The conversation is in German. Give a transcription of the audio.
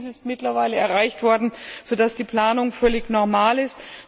Auch dies ist mittlerweile erreicht worden, sodass die Planung völlig normal ist.